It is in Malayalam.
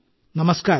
നമസ്കാരം